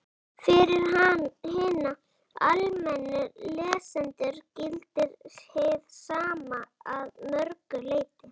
Fyrir hina almennu lesendur gildir hið sama að mörgu leyti.